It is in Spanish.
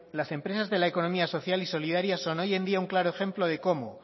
las empresas de la economía social y solidaria son hoy en día un claro ejemplo de cómo